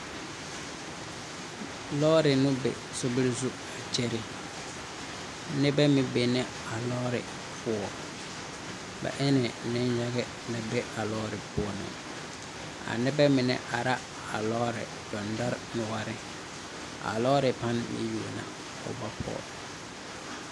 Lɔɔre nu be sorbir zu a kyɛrɛ. Nebɛ meŋ be ne a lɔɔre poɔ. Bɛ ene neyage na be a lɔɔre poɔ a. A nebɛ mene ara a lɔɔre dindore nuore. A lɔɔre pan ene o bɛ poge